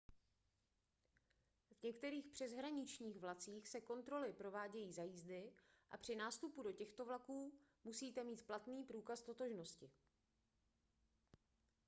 v některých přeshraničních vlacích se kontroly provádějí za jízdy a při nástupu do těchto vlaků musíte mít platný průkaz totožnosti